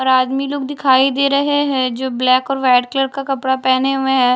और आदमी लोग दिखाई दे रहे हैं जो ब्लैक और वाइट कलर का कपड़ा पहने हुए हैं।